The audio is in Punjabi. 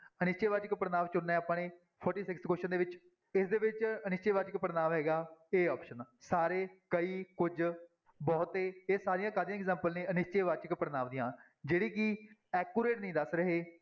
ਅਨਿਸ਼ਚੈ ਵਾਚਕ ਪੜ੍ਹਨਾਂਵ ਚੁਣਨਾ ਹੈ ਆਪਾਂ ਨੇ forty-sixth question ਦੇ ਵਿੱਚ ਇਸਦੇ ਵਿੱਚ ਅਨਿਸ਼ਚੈ ਵਾਚਕ ਪੜ੍ਹਨਾਂਵ ਹੈਗਾ a option ਸਾਰੇ, ਕਈ, ਕੁਝ, ਬਹੁਤੇ ਇਹ ਸਾਰੀਆਂ ਕਾਹਦੀਆਂ example ਨੇ ਅਨਿਸ਼ਚੈ ਵਾਚਕ ਪੜ੍ਹਨਾਂਵ ਦੀਆਂ ਜਿਹੜੇ ਕਿ accurate ਨੀ ਦੱਸ ਰਹੇ,